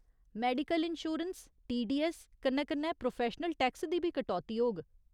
Medical insurance, TDS कन्नै कन्नै professional tax दी बी कटौती होग।